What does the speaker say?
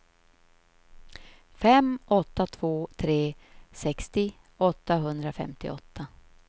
fem åtta två tre sextio åttahundrafemtioåtta